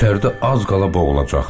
İçəridə az qala boğulacaqdıq.